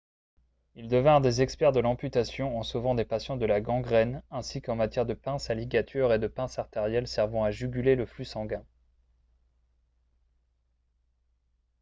ils devinrent des experts de l'amputation en sauvant des patients de la gangrène ainsi qu'en matière de pinces à ligature et de pinces artérielles servant à juguler le flux sanguin